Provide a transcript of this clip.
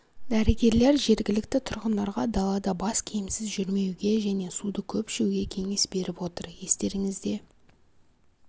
дәрігерлер жергілікті тұрғындарға далада бас киімсіз жүрмеуге және суды көп ішуге кеңес беріп отыр естеріңізде